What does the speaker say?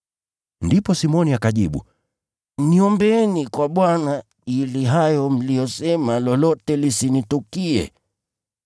Ndipo Simoni akajibu, “Niombeeni kwa Bwana, ili hayo mliyosema lolote yasinitukie.”